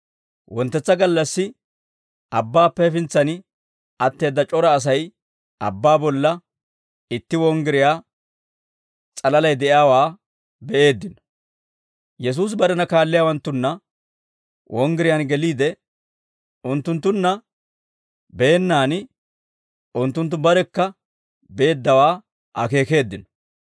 Wonttetsa gallassi, abbaappe hefintsanna atteedda c'ora Asay abbaa bolla itti wonggiriyaa s'alalay de'iyaawaa be'eeddino; Yesuusi barena kaalliyaawanttunna wonggiriyaan geliide, unttunttunna beennaan, unttunttu barekka beeddawaa akeekeeddino.